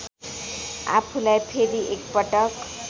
आफूलाई फेरि एकपटक